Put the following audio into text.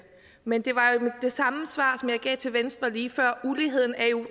men det var jo det samme svar som jeg gav til venstre lige før uligheden er jo